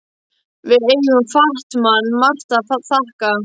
Við eigum Fat-Man margt að þakka.